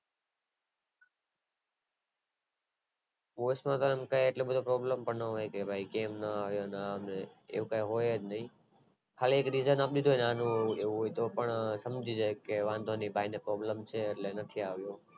boys માં તો એટલી બધી Problem પણ ન હોય કે ભાઈ કેમ નો આવો ને આમ ને એવું કે હોય જ નય ખાલી એક Reason આપી દેય ને આનું આમ એટલે એ સમજી જાય કે વાંધોનય ભાઈ ને Problem છે એટલે નથી આવો